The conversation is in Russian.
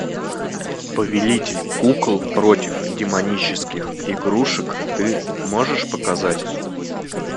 повелитель кукол против демонических игрушек ты можешь показать